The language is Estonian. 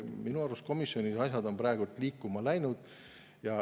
Minu arust on komisjonis asjad liikuma läinud.